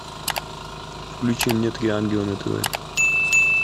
включи мне три ангела на тв